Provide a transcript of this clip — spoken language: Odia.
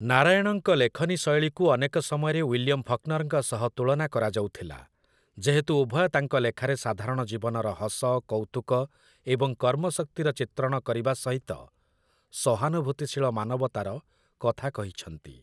ନାରାୟଣଙ୍କ ଲେଖନୀ ଶୈଳୀକୁ ଅନେକ ସମୟରେ ୱିଲିୟମ୍ ଫକ୍‌ନର୍‌ଙ୍କ ସହ ତୁଳନା କରାଯାଉଥିଲା, ଯେହେତୁ ଉଭୟ ତାଙ୍କ ଲେଖାରେ ସାଧାରଣ ଜୀବନର ହସ, କୌତୁକ ଏବଂ କର୍ମଶକ୍ତିର ଚିତ୍ରଣ କରିବା ସହିତ ସହାନୁଭୂତିଶୀଳ ମାନବତାର କଥା କହିଛନ୍ତି ।